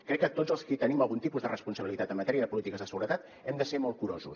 crec que tots els qui tenim algun tipus de responsabilitat en matèria de polítiques de seguretat hem de ser molt curosos